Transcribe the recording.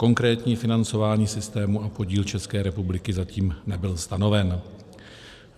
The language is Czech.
Konkrétní financování systému a podíl České republiky zatím nebyl stanoven.